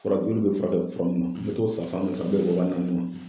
Fura joli bɛ furakɛ fura mun na me t'o san fan dɔ fɛ mun bɛ bɛn waa naani ma